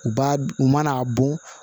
U b'a u mana a bɔn